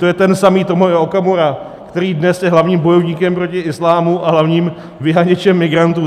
To je ten samý Tomio Okamura, který dnes je hlavním bojovníkem proti islámu a hlavním vyháněčem migrantů.